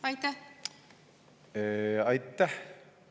Aitäh!